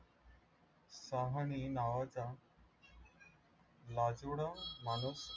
सोहाणी नावाच्या माणूस